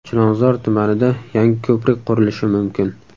Chilonzor tumanida yangi ko‘prik qurilishi mumkin.